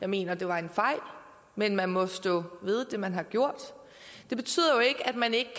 mener det var en fejl men man må stå ved det man har gjort det betyder jo ikke at man ikke